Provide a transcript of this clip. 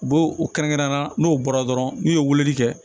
U b'o u kɛrɛnkɛrɛnnenya la n'o bɔra dɔrɔn n'u ye weleli kɛ